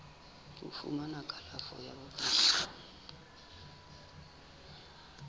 ho fumana kalafo ya bongaka